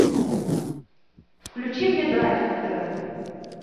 включи мне драйв на тв